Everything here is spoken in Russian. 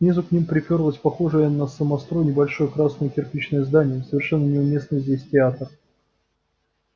снизу к ним припёрлось похожее на самострой небольшое красное кирпичное здание совершенно неуместный здесь театр